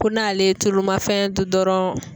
Ko n'ale ye tulumafɛn dun dɔrɔn.